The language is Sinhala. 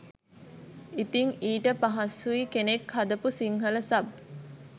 ඉතිං ඊට පහසුයි කෙනෙක් හදාපු සිංහල සබ්